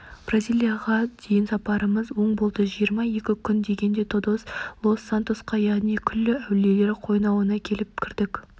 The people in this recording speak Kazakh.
бразилияға дейін сапарымыз оң болды жиырма екі күн дегенде тодос лос сантосқа яғни күллі әулиелер қойнауына келіп кірдік